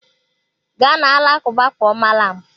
Gaa na alakụba kpọọ malam!